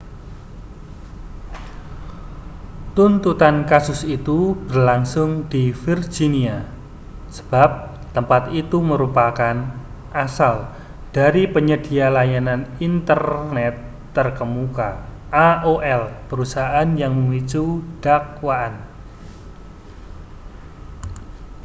tuntutan kasus itu berlangsung di virginia sebab tempat itu merupakan asal dari penyedia layanan internet terkemuka aol perusahaan yang memicu dakwaan